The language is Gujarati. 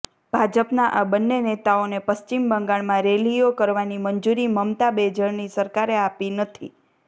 ભાજપના આ બંને નેતાઓને પશ્ચિમ બંગાળમાં રેલીઓ કરવાની મંજુરી મમતા બેજરની સરકારે આપી નથી